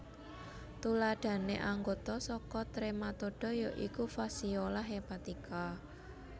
Tuladhané anggota saka Trematoda ya iku Fasciola hepatica